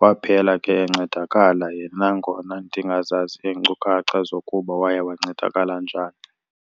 Waphela ke encedakala yena nangona ndingazazi iinkcukacha zokuba wancedakala njani.